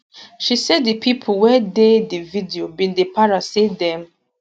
she say di pipo wey dey di video bin dey para say dem